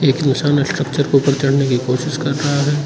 एक इंसान स्ट्रक्चर के ऊपर चढ़ने की कोशिश कर रहा है।